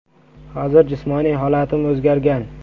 Hozir jismoniy holatim o‘zgargan.